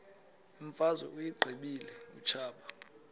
imfazwe uyiqibile utshaba